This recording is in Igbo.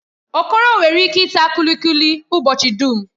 Okoro nwere ike ita kulikuli ụbọchị dum.